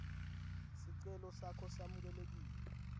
sicelo sakho samukelekile